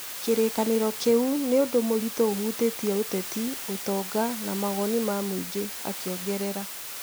" kĩrĩkanĩro kiu nĩ ũndũ mũritũ ũhutĩtie ũteti, ũtonga, na mawoni ma mũingĩ," akiongerera.